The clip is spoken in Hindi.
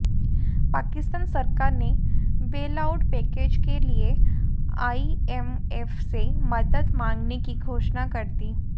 पाकिस्तान सरकार ने बेलआउट पैकेज के लिए आईएमएफ से मदद मांगने की घोषणा कर दी